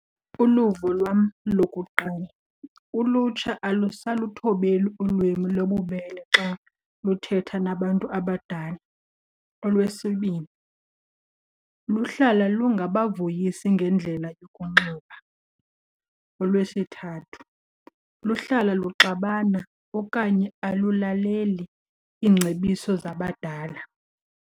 Uluvo lwam lokuqala, ulutsha alusaluthobeli ulwimi lobubele xa luthetha nabantu abadala. Olwesibini, luhlala lungabavuyisi ngendlela yokunxiba. Olwesithathu, luhlala luxabana okanye alulaleli iingcebiso zabadala.